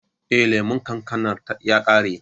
Eh, lemon kankanar ya ƙare.